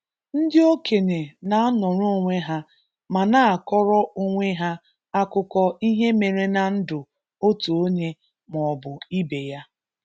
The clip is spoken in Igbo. ndị okenye n’anọrọ onwe ha ma na-akọrọ onwe ha akụko ihe mere na ndụ otu onye ma ọ bụ ibe ya